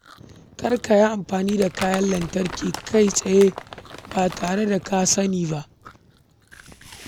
Kar ka yi amfani da kayan lantarki kai tsaye ba tare da kiyayewa ba.